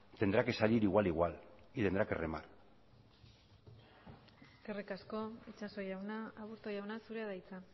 tendrá que salir igual igual y tendrá que remar eskerrik asko itxaso jauna aburto jauna zurea da hitza